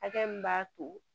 Hakɛ min b'a to